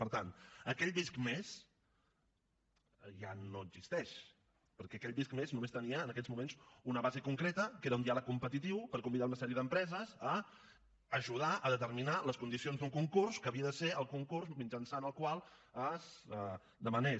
per tant aquell visc+ ja no existeix perquè aquell visc+ només tenia en aquells moments una base concreta que era un diàleg competitiu per convidar una sèrie d’empreses a ajudar a determinar les condicions d’un concurs que havia de ser el concurs mitjançant el qual es demanés